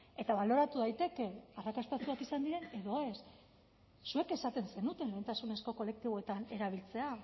eta baloratu daiteke arrakastatsuak izan diren edo ez zuek esaten zenuten lehentasunezko kolektiboetan erabiltzea